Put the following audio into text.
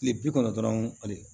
Kile bi kɔnɔntɔn dɔrɔn ale